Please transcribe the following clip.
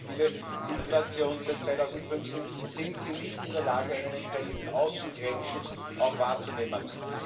Zwei Beispiele Migration seit 2015 sind Sie nicht in der Lage, einen entsprechenden Außengrenzschutz auch wahrzunehmen.